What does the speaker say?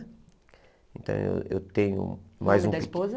Então eu tenho mais um... O nome da esposa?